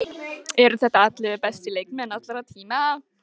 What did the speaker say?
Eru þetta ellefu bestu leikmenn allra tíma?